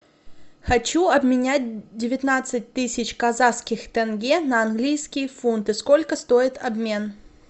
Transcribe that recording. хочу обменять девятнадцать тысяч казахских тенге на английские фунты сколько стоит обмен